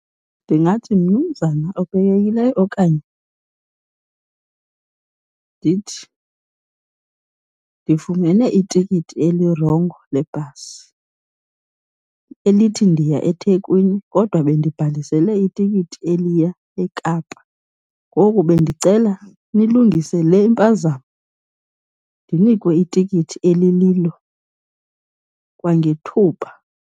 Ndingathi, mnumzana obekekileyo okanye ndithi, ndifumene itikiti elirongo lebhasi elithi ndiya eThekwini kodwa bendibhalisele itikiti eliya eKapa. Ngoku bendicela nilungise le impazamo ndinikwe itikiti elililo kwangethuba.